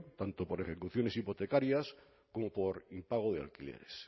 tanto por ejecuciones hipotecarias como por impago de alquileres